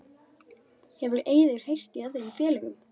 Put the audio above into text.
Hefur Eiður heyrt í öðrum félögum?